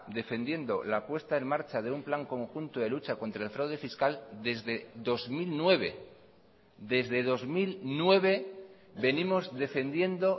defendiendo la apuesta en marcha de un plan conjunto de lucha contra el fraude fiscal desde dos mil nueve desde dos mil nueve venimos defendiendo